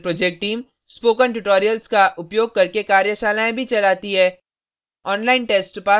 spoken tutorial project team spoken tutorials का उपयोग करके कार्यशालाएँ भी चलाती है